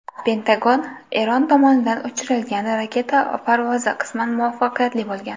Pentagon: Eron tomonidan uchirilgan raketa parvozi qisman muvaffaqiyatli bo‘lgan.